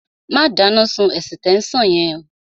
Má dáná sun ẹ̀sítẹ́nsàn yẹn